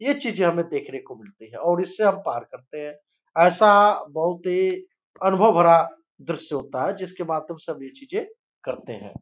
ये चीजे हमे देखने को मिलती है और इससे हम पहार करते है ऐसा बहुत ही अनुभव् भरा दृश्य होता है जिसके बाद तो सभ ये चीजे करते है।